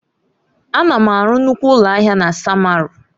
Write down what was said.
Ana m arụ nnukwu ụlọ ahịa na samaru.